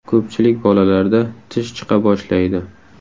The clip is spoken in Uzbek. Ko‘pchilik bolalarda tish chiqa boshlaydi.